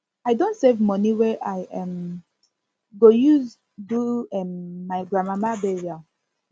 i don save moni wey i um go use do um my grandmama burial